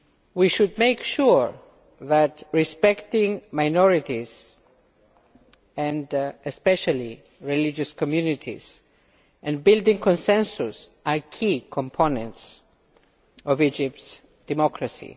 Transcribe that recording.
We should make sure that respecting minorities especially religious communities and building consensus are key components of Egypt's democracy.